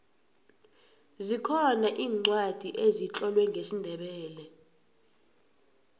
zikhona iincwadi ezitlolwe ngesindebele